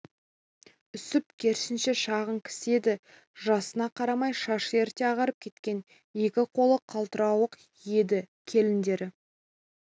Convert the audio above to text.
үсіп керісінше шағын кісі еді жасына қарамай шашы ерте ағарып кеткен екі қолы қалтырауық еді келіндері